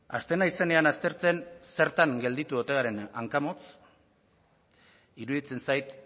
hasten naizenean aztertzen zertan gelditu ote garen hankamotz iruditzen zait